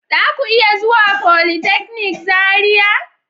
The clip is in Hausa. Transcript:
Zaku iya zuwa folytechnic Zaria.